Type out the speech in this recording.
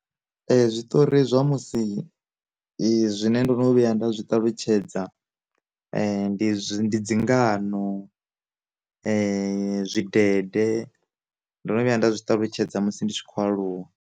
Zwiṱori zwa musi zwi zwine ndo no vhuya nda zwi ṱalutshedza, ndi dzingano, ndi zwi dende, ndo no vhuya nda zwi ṱalutshedza musi ndi tshi khou aluwa.